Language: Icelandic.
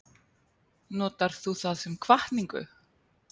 Notar þú það sem hvatningu?